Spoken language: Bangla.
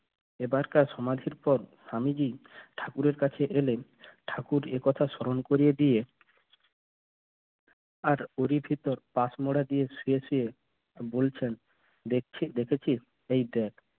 এবারকার সমাধির পর স্বামীজি ঠাকুরের কাছে এলে ঠাকুর এর কথা স্মরণ করিয়ে দিয়ে আর ওরই ভিতর দিয়ে শুয়ে শুয়ে বলছেন দেখছি দেখেছিস এই দেখ